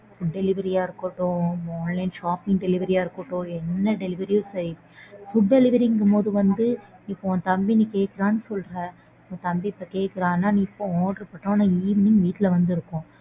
Delivery யா இருக்கட்டும் online shopping delivery யா இருக்கட்டும் என்ன delivery யும் சரி food delivery ங்கும் போது வந்து இப்போ உன் தம்பி நீ கேக்கறான்னு சொல்ற உன் தம்பி இப்போ கேக்கறான்ன நீ இப்போ order பண்ணா evening வீட்ல வந்து இருக்கும்.